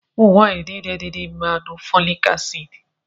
Ụmụ nwaanyị niile dị ime na-aṅụ folik acid.